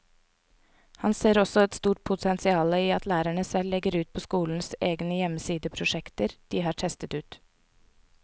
Han ser også et stort potensial i at lærere selv legger ut på skolens egen hjemmeside prosjekter de har testet ut.